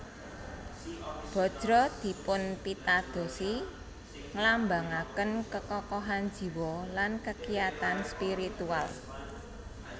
Bajra dipunpitadosi nglambangaken kekokohan jiwa lan kekiyatan spiritual